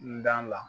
N da la